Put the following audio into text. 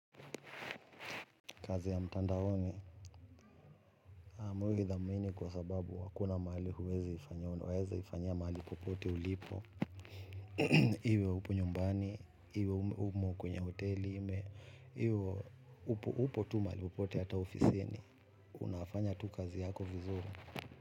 Kazi ya mtandaoni, mi huithamini kwa sababu hakuna mahali huweziifanyia, unawezaifanyia mahali popote ulipo. Iwe upo nyumbani, iwe umo kwenye hoteli, iwe upo tu mahali popote hata ofisini. Unafanya tu kazi yako vizuri.